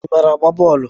ị maara agba bọọlu?